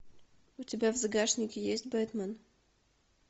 у тебя в загашнике есть бэтмен